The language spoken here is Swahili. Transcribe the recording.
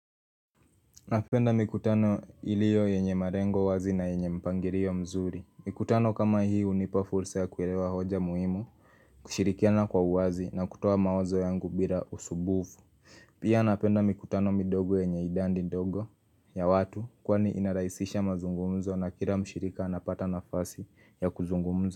Napenda mikutano ilio yenye malengo wazi na yenye mpangilio mzuri Mikutano kama hii unipa fursa ya kuelewa hoja muhimu kushirikiana kwa wazi na kutoa mawazo yangu bila usumbufu Pia napenda mikutano midogo yenye idadi ndogo ya watu Kwani inarahisisha mazungumzo na kila mshirika anapata nafasi ya kuzungumza.